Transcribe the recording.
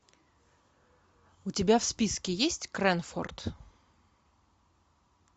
у тебя в списке есть крэнфорд